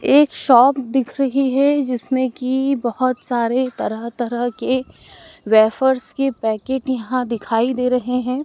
एक शॉप दिख रही है जिसमें कि बहोत सारे तरह तरह के वेफर्स के पैकेट्स यहां दिखाई दे रहे हैं।